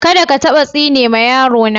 Kadda ka tabba tsine ma yaro na.